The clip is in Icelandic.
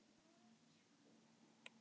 Litlu Völlum